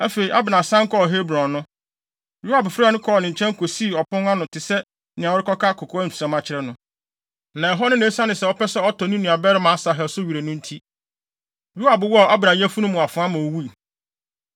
Afei, Abner san kɔɔ Hebron no, Yoab frɛɛ no kɔɔ nkyɛn kosii ɔpon ano te sɛ nea ɔrekɔka kokoamsɛm akyerɛ no no. Na ɛhɔ no na esiane sɛ ɔpɛ sɛ ɔtɔ ne nuabarima Asahel so were no nti, Yoab wɔɔ Abner yafunu mu afoa ma owui.